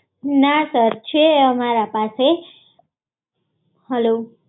ના સર છે અમારા પાસે હલો